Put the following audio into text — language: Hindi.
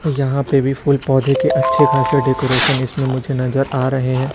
यहां पे भी फूल पौधे के अच्छे खासे डेकोरेशन इसमें मुझे नजर आ रहे हैं।